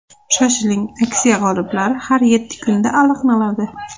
Shoshiling, aksiya g‘oliblari har yetti kunda aniqlanadi!